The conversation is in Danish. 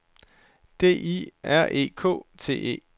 D I R E K T E